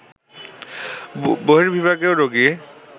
বর্হিবিভাগেও রোগী